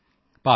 ਭਾਵਨਾ ਜੀ